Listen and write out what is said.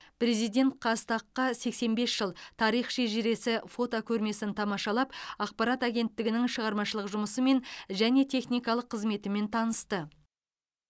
президент қазтаг қа сексен бес жыл тарих шежіресі фотокөрмесін тамашалап ақпарат агенттігінің шығармашылық жұмысымен және техникалық қызметімен танысты